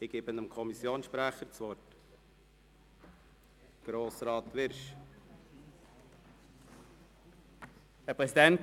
Ich erteile das Wort dem Kommissionssprecher, Grossrat Wyrsch.